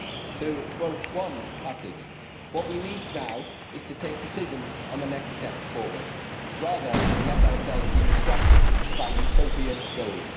To quote one passage, what we need now is to take decisions on the next steps forward rather than let ourselves be distracted by utopian goals'.